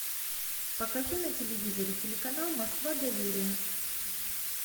покажи на телевизоре телеканал москва доверие